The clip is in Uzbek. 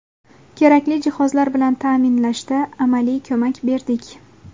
Kerakli jihozlar bilan ta’minlashda amaliy ko‘mak berdik.